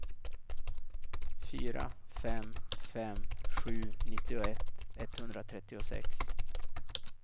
fyra fem fem sju nittioett etthundratrettiosex